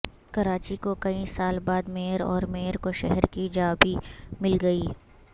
کراچی کو کئی سال بعد میئر اور میئر کو شہر کی چابی مل گئی